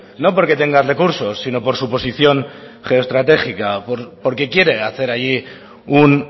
no porque tenga recursos sino por suposición geoestratégica porque quiere hacer allí un